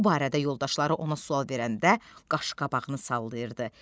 Bu barədə yoldaşları ona sual verəndə qaşqabağını sallayırdı.